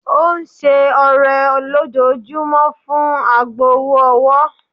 Ó ń ṣe ọrẹ lójoojúmọ́ fún agbowó-owó.